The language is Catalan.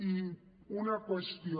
i una qüestió